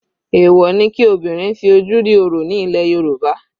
Èwọ̀ ni kí obìnrin fi ojú rí orò ní ilẹ̀ Yorùbá.